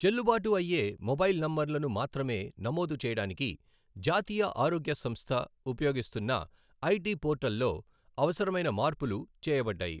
చెల్లుబాటు అయ్యే మొబైల్ నంబర్లను మాత్రమే నమోదు చేయడానికి జాతీయ ఆరోగ్య సంస్థ ఉపయోగిస్తున్నఐటీ పోర్టల్లో అవసరమైన మార్పులు చేయబడ్డాయి,